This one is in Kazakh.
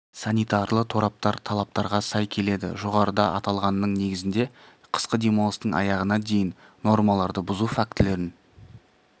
санитарлы тораптар талаптарға сай келеді жоғарыда аталғанның негізінде қысқы демалыстың аяғына дейін нормаларды бұзу фактілерін